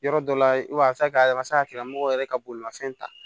Yɔrɔ dɔ la i b'a kɛ a ma se a kɛra mɔgɔ yɛrɛ ka bolimanfɛn ta